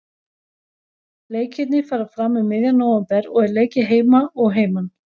Leikirnir fara fram um miðjan nóvember og er leikið heima og heiman.